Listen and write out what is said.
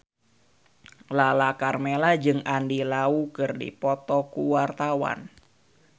Lala Karmela jeung Andy Lau keur dipoto ku wartawan